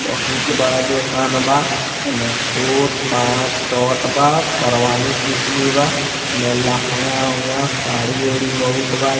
बहुत बड़ा दुकान बा एमे कोट पैंट शर्ट बा और शरवानी सूट भी बा एमे लहंगा-उहंगा साड़ी-उड़ी बहुत बा।